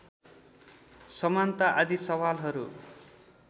समानता आदि सवालहरू